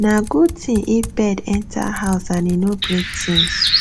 nah good thing if bird enter house and e no break things